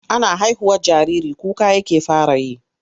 Ana haihuwar jariri kuka yake fara yi.